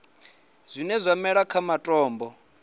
zwine zwa mela kha matombo